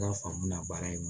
baara in